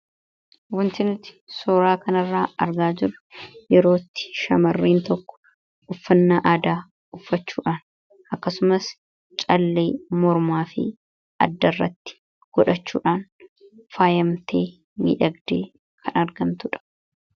Wanti nuti suuraa kanarraa argaa jirru yeroo itti shamarreen tokko uffannaa aadaa uffachuudhaan akkasumas callee mormaa fi addarratti godhachuudhaan faayamtee miidhagdee kan argamtu dha.